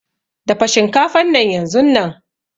Dafa shinkafan nan yanzunnan.